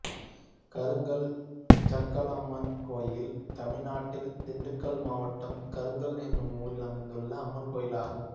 கருங்கல் ஜக்காலம்மன் கோயில் தமிழ்நாட்டில் திண்டுக்கல் மாவட்டம் கருங்கல் என்னும் ஊரில் அமைந்துள்ள அம்மன் கோயிலாகும்